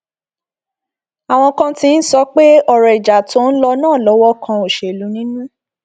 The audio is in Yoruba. àwọn kan ti ń sọ pé ọrọ ìjà tó ń lọ náà lọwọ kan òṣèlú nínú